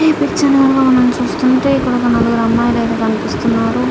ఈ చిత్రంలో మనం చూస్తుంటే ఒక నలుగురు అమ్మాయిలైతే కనిపిస్తున్నారో.